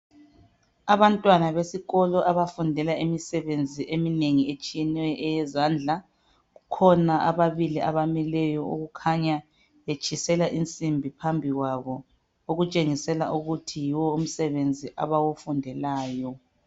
Abantwana besikolo abafundela imisebenzi eminengi etshiyeneyo eyezandla kukhona ababili abamileyo okukhanya betshisela insimbi phambi kwabo okutshengisela ukuthi yiwo umsebenzi abawufundelayo.